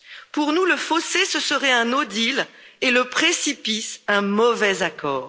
Pour nous, le fossé, ce serait un no deal et le précipice un mauvais accord.